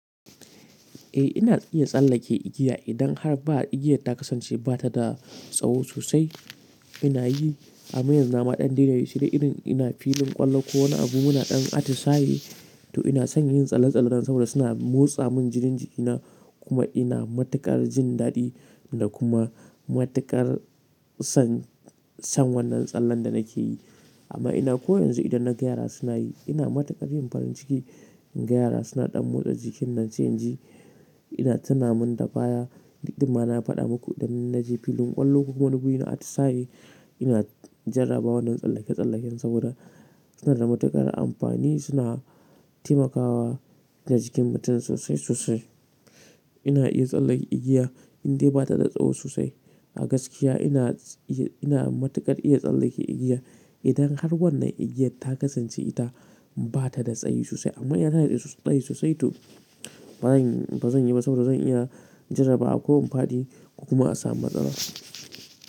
Eh ina iya tsallake igiya idan har igiyan ta kasance bata da sawu sosai ina yi, amma yanzu na ma ɗan daina yin shi dan irin ina filin ƙwallo ko wani abu muna ɗan atisayi to ina son yin tsalle-tsalle nan saboda suna motsa min jinin jikina kuma ina matuƙar jin daɗi da kuma matuƙar son, son wannan tsallen da nake yi. Amma ina ko yanzu idan na ga yara suna yi ina matuƙar yin farin ciki. Yara suna ɗan motsa jikin nan sai in ji ina tuna mun dabaya, duk da ma na faɗa muku idan na je filin ƙwallo ko wani abu ina atisayi ina jarraba wannan tsallake-tsallaken saboda suna da matuƙar amfani suna taimakawa da jikin mutum sosai sosai. Ina iya tsallake igiya indai ba ta da tsawo sosai. A gaskiya ina, ina matuƙar iya tsallake igiya idan har wannan igiyar ta kasance ita ba ta da tsayi sosai. Amma idan yana da sayi sosai, to ba bazan yi ba saboda zan iya jarrabawa ko in fadi ko kuma a samu matsala.